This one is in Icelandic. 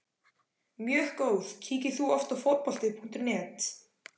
Mjög góð Kíkir þú oft á Fótbolti.net?